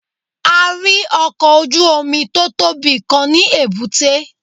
A rí ọkọ̀ ojú Omi tótọ́bi Kan ní èbúté